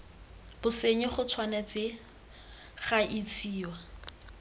bosenyi go tshwanetse ga isiwa